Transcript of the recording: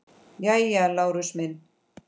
Jæja, Lárus minn.